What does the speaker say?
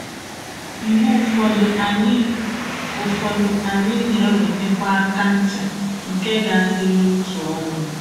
Mgbe ụfọdụ, anyị ụfọdụ, anyị na-enwetakwa aka ncha, nke ga-adịru otu ọnwa. ”